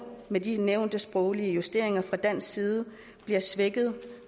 med de nævnte sproglige justeringer fra dansk side svækket